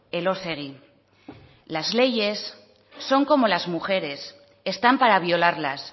elósegui las leyes son como las mujeres están para violarlas